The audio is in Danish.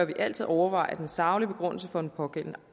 vi altid overveje den saglige begrundelse for den pågældende